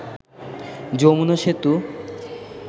Jamuna Setu